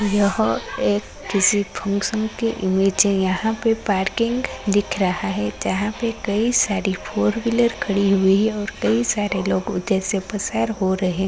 यह एक किसी फंगशन की इमेजे है। यहाँ पे पार्किंग दिख रही है जहाँ पे कई सारी फोर व्हीलर खडी हुई है ओर कई सारे लोग उदरसे पसार हो रहे --